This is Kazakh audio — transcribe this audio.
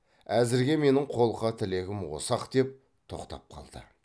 әзірге менің қолқа тілегім осы ақ деп тоқтап қалды